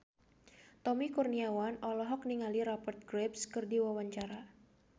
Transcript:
Tommy Kurniawan olohok ningali Rupert Graves keur diwawancara